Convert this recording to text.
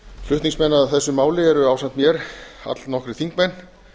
flutningsmenn að þessu máli eru ásamt mér allnokkrir þingmenn